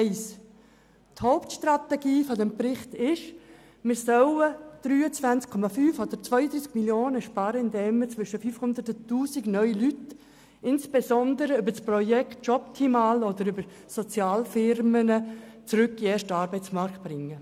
Zum ersten Punkt: Die Hauptstrategie der Berichte ist es, 23,5 oder 32 Mio. Franken zu sparen, indem wir zwischen 500 und 1000 Personen, insbesondere über das Projekt Jobtimal oder über Sozialfirmen, zurück in den ersten Arbeitsmarkt bringen.